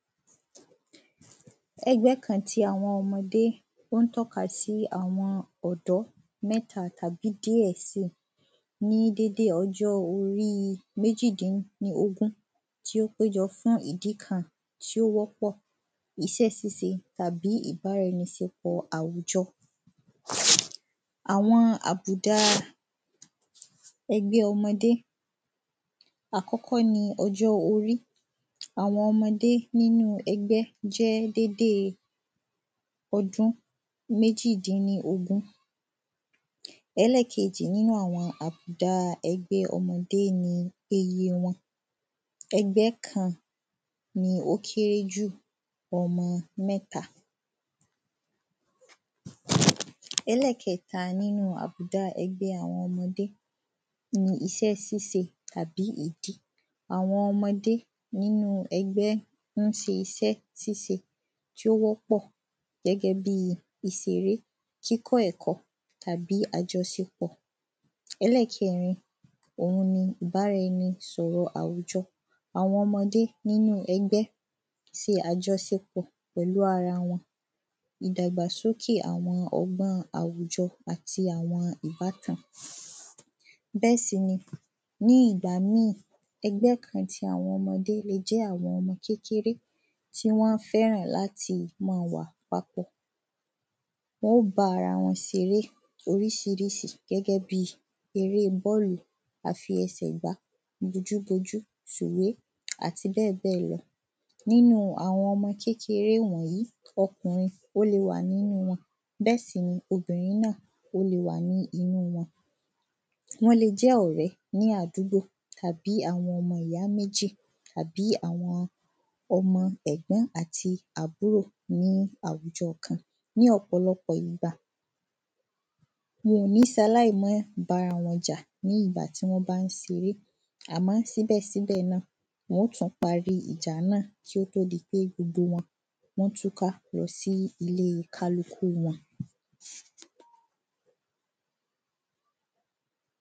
Ẹgbẹ́ kan tí àwọn ọmọdé ó ń tọ́ka si àwọn ọ̀dọ́ mẹ́ta tàbí díẹ̀ si ní dédé ọjọ́ orí méjìdíníogún tí ó péjọ fún ìdí kan tí ó wọ́pọ̀ iṣẹ ṣíṣe tàbí ìbáraẹniṣepọ̀ àwùjọ Àwọn àbùdá ẹgbẹ́ ọmọdé Àkọkọ́ ni ọjọ́ orí Àwọn ọmọdé nínú ẹgbẹ́ jẹ́ dédé ọdún méjì dín ní ogún Ẹlẹ́ẹ̀kejì nínú àwọn àbùdá ẹgbẹ́ ọmọdé ni iye wọn Ẹgbẹ́ kan ní ó kéré jù ọmọ mẹ́ta Ẹlẹ́ẹ̀kẹta nínú àbùdá ẹgbẹ́ àwọn ọmọdé ni iṣẹ́ ṣíṣe àbí ìdí Àwọn ọmọdé nínú ẹgbẹ́ ń ṣe iṣẹ ṣíṣe tí ó wọ́pọ̀ gẹ́gẹ́ bíi ìṣeré kíkọ́ ẹ̀kọ́ àbí àjọṣepọ̀ Ẹlẹ́ẹ̀kẹrin oun ni ìbáraẹni sọ̀rọ̀ àwùjọ Àwọn ọmọdé nínú ẹgbẹ́ ṣe àjọṣepọ̀ pẹ̀lú ara wọn ìdàgbàsókè àwọn ọgbọ́n àwùjọ àti àwọn ìbátan Bẹ́ẹ̀ sì ni ní ìgbà míì ẹgbẹ́ kan ti àwọn ọmọdé lè jẹ́ àwọn kékeré tí wọn fẹ́ran láti máa wà papọ̀ Wọn óò bá ara wọn ṣeré oríṣiríṣi gẹ́gẹ́ bíi èrè bọ́ọ́lù afiẹsẹ̀gbá bojúbojú sùwé àti bẹ́ẹ̀bẹ́ẹ̀ lọ Nínú àwọn ọmọ kékeré wọ̀nyìí ọkùrin ó lè wà nínú wọn bẹ́ẹ̀ sì ni obìnrin ó lè wà ní inú wọn Wọ́n lè jẹ́ ọ̀rẹ́ ní àdúgbò tàbí àwọn ọmọ ìyá méjì àbí àwọn ọmọ ẹ̀gbọ́n àti àbúrò ní àwùjọ kan Ní ọ̀pọ̀lọpọ̀ ìgbà wọ́n ò ní ṣe aláì má bára wọn jà ní ìgbà tí wọ́n bá ń ṣeré àmọ́ síbẹ̀síbẹ̀ náà wọ́n óò parí ìjà náà kí ó tó di pé gbogbo wọn túká lọ sí ilé kálukú wọn